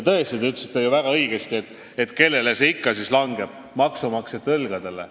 Tõesti, te ütlesite ju väga õigesti, et kelle õlgadele see siis ikka jääb, maksumaksjate õlgadele.